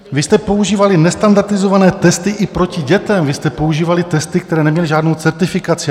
Vy jste používali nestandardizované testy i proti dětem, vy jste používali testy, které neměly žádnou certifikaci.